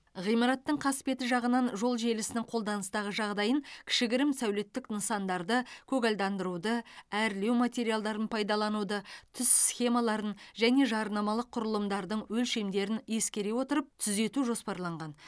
ғимараттың қасбеті жағынан жол желісінің қолданыстағы жағдайын кішігірім сәулеттік нысандарды көгалдандыруды әрлеу материалдарын пайдалануды түс схемаларын және жарнамалық құрылымдардың өлшемдерін ескере отырып түзету жоспарланған